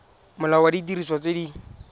molao wa didiriswa tse di